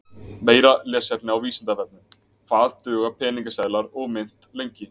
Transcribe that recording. Meira lesefni á Vísindavefnum Hvað duga peningaseðlar og mynt lengi?